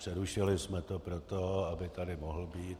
Přerušili jsme to proto, aby tady mohl být.